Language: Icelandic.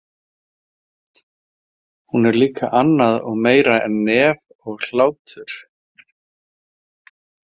Hún er líka annað og meira en nef og hlátur.